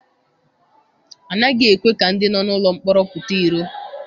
Anaghị ekwe ka ndị nọ n'ụlọ mkpọrọ pụta iro.